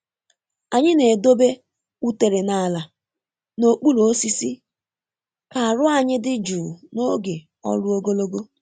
Anyị na-edobe utere n’ala n’okpuru osisi ka aru anyị dị jụụ n’oge ọrụ ogologo.